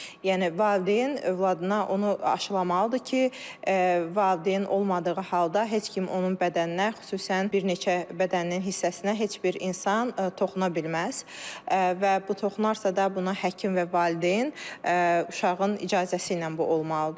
Yəni valideyn övladına onu aşlamalıdır ki, valideyn olmadığı halda heç kim onun bədəninə, xüsusən bir neçə bədənin hissəsinə heç bir insan toxuna bilməz və bu toxunarsa da buna həkim və valideyn uşağın icazəsi ilə bu olmalıdır.